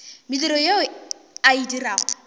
mediro ye a e dirago